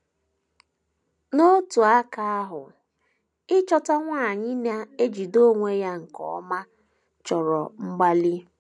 N’otu aka ahụ, ịchọta nwanyị na - ejide onwe ya nke ọma chọrọ mgbalị.